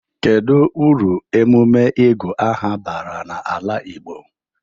Kedụ uru emume ịgụ aha bara na-ala Igbo?